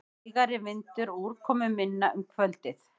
Hægari vindur og úrkomuminna um kvöldið